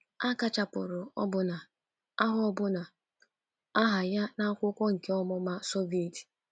A kachapụrụ ọbụna aha ọbụna aha ya n’akwụkwọ nkà ọmụma Soviet.